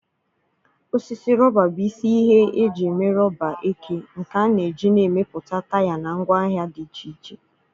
Osisi rọba bụ isi ihe eji eme rọba eke, nke a na-eji na-emepụta taya na ngwaahịa dị iche iche.